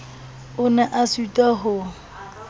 o ne a sitwa ho